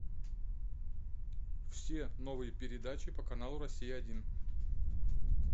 все новые передачи по каналу россия один